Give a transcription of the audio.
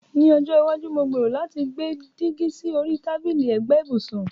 Ní ọjọ́ iwájú, mo gbèrò láti gbé dígí sí orí tábìlì ẹ̀gbẹ́ ibùsùn.